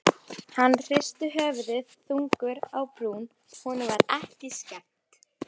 Hann hristi höfuðið þungur á brún, honum var ekki skemmt.